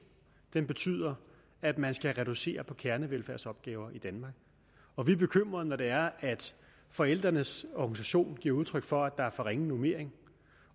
betyder at man skal reducere på kernevelfærdsopgaver i danmark og vi er bekymret når det er at forældrenes organisation giver udtryk for at der er for ringe normering